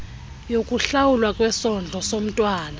yokuhlawulwa kwesondlo somntwana